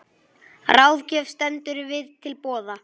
Ráðgjöf stendur víða til boða.